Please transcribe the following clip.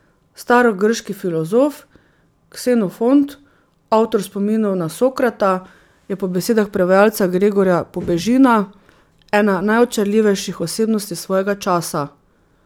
Starogrški filozof Ksenofont, avtor Spominov na Sokrata, je po besedah prevajalca Gregorja Pobežina ena najočarljivejših osebnosti svojega časa.